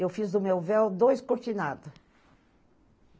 Eu fiz do meu véu dois cortinados.